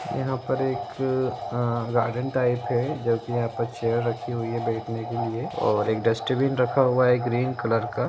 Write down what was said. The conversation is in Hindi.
यहां पर एक गार्डन टाईप है जो की यहां पर चेयर रखी हुई है बेठने के लिए और एक डस्टबिन रखा हुआ है ग्रीन कलर का --